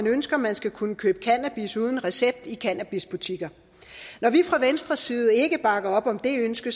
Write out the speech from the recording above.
ønsker man skal kunne købe cannabis uden recept i cannabisbutikker når vi fra venstres side ikke bakker op om det ønske